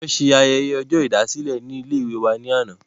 wọ́n ṣe ayẹyẹ ọjọ́ ìdásílẹ̀ ní ilé ìwé wa ní àná